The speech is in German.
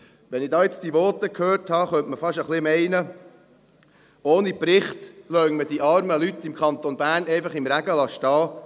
Wenn ich jetzt diese Voten hörte, könnte man fast ein wenig meinen, ohne Bericht lasse man die armen Leute im Kanton Bern einfach im Regen stehen.